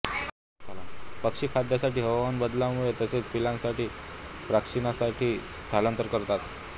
पक्षी खाद्यासाठी हवामान बदलामुळे तसेच पिल्लांच्या प्रशिक्षणासाठीही स्थलांतर करतात